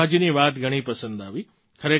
મને પ્રભાજીની વાત ઘણી પસંદ આવી